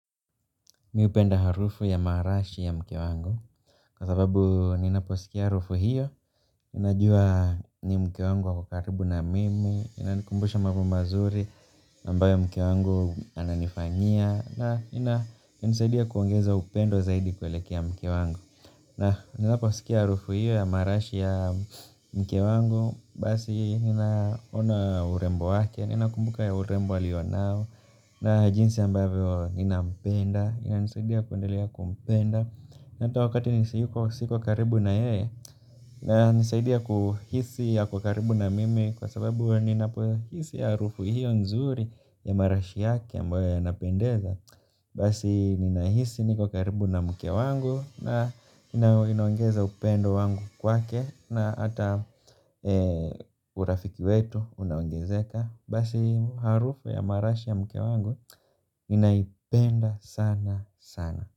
Mi hupenda harufu ya marashi ya mke wangu kwa sababu ninaposikia harufu hiyo ninajua ni mke wangu ako karibu na mimi inanikumbusha mambo mazuri ambayo mke wangu ananifanyia na ina nisidia kuongeza upendo zaidi kuelekea mke wangu na ninaposikia harufu hiyo ya marashi ya mke wangu basi ninaona urembo wake. Ninakumbuka ya urembo aliyo nao na jinsi ambavyo ninampenda inanisaidia kuendelea kumpenda na ata wakati nisi yuko siko karibu na yeye yana nisaidia kuhisi ako karibu na mimi kwa sababu nina po hisi harufu hiyo nzuri ya marashi yake ambayo ya napendeza basi nina hisi niko karibu na mke wangu na na inaongeza upendo wangu kwake na ata urafiki wetu una oengezeka basi harufu ya marashi ya mke wangu naipenda sana sana.